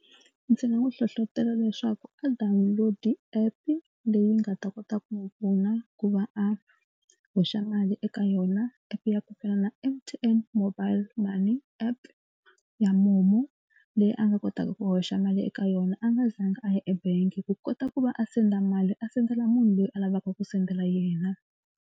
Ndzi nga n'wi hlohlotelo leswaku a download app leyi nga ta kota ku n'wi pfuna ku va a hoxa mali eka yona. App ya ku fana na M_T_N mobile money app ya momo leyi a nga kotaka ku hoxa mali eka yona a nga zanga a ya ebangi ku kota ku va a senda mali a sendela munhu loyi a lavaka ku sendela yena.